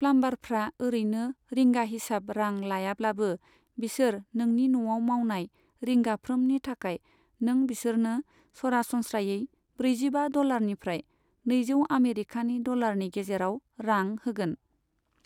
प्लाम्बारफ्रा ओरैनो रिंगा हिसाब रां लायाब्लाबो, बिसोर नोंनि न'आव मावनाय रिंगाफ्रोमनि थाखाय नों बिसोरनो सरासनस्रायै ब्रैजिबा डलारनिफ्राय नैजौ आमेरिखानि डलारनि गेजेराव रां होगोन।